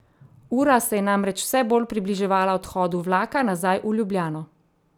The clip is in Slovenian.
Ura se je namreč vse bolj približevala odhodu vlaka nazaj v Ljubljano.